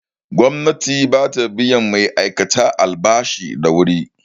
Gwamnati bata biyan ma'aikata albashi da wuri